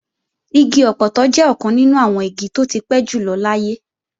Igi ọpọtọ jẹ́ ọ̀kan nínú àwọn igi tó ti pẹ́ jùlọ láyé